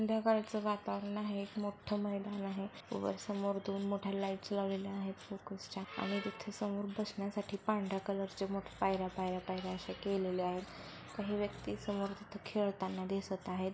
संध्याकाळच वातावरण आहे एक मोठ मैदान आहे. वर समोर दोन मोठ्या लाइट लावलेल्या आहेत फोकस च्या आणि तिथे समोर बसण्यासाठी पांढऱ्या कलर च पायर्‍या-पायर्‍या-पायर्‍या असे केलेले आहेत. काही व्यक्ति समोर खेळताना दिसत आहेत.